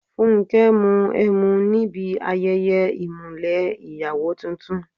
Fúnkẹ́ mu ẹmu níbi ayẹyẹ ìmùlẹ̀ ìyàwó tuntun.